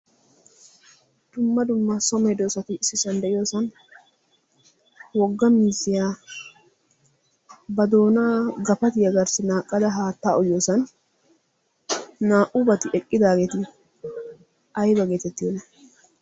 tumma dummaa somee doosati issi sand de'iyoosan wogga mizziyaa ba doonaa gafati yagaarssi naaqqada haattaa oyyoosan naa"u bati eqqidaageeti ayba geetettiyoona?